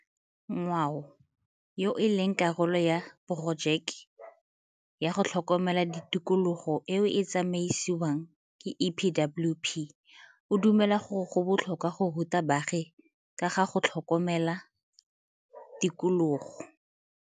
Nyawo, yo e leng karolo ya porojeke ya go tlhokomela tikologo eo e tsamaisiwang ke EPWP, o dumela gore go botlhokwa go ruta baagi ka ga go tlhokomela tikologo.